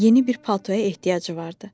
Yeni bir paltoya ehtiyacı vardı.